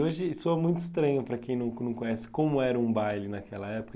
Hoje soa muito estranho para quem não con não conhece como era um baile naquela época.